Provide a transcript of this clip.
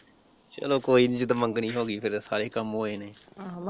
ਚੱਲੋ ਕੋਈ ਨਹੀਂ ਜਦੋਂ ਮੰਗਣੀ ਹੋ ਗਈ ਫਿਰ ਸਾਰੇ ਕੰਮ ਹੋ ਜਾਣੇ।